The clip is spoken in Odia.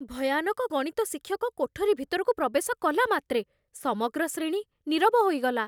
ଭୟାନକ ଗଣିତ ଶିକ୍ଷକ କୋଠରୀ ଭିତରକୁ ପ୍ରବେଶ କଲା ମାତ୍ରେ ସମଗ୍ର ଶ୍ରେଣୀ ନୀରବ ହୋଇଗଲା।